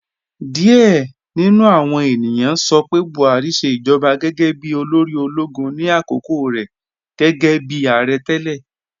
Diẹ̀ ni nú àwọn ènìyàn sọ pé Buhari ṣẹ ijọba gẹ́gẹ́ bí olóri ologun ni akókò rẹ gẹ́gẹ́bi aarẹ̀ tẹlẹ.